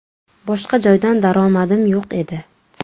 Boshqa joydan daromadim yo‘q edi.